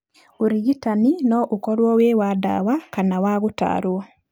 Ũrigitanĩ no ũkorwo wĩ wa ndawa kana wa gũtarwo.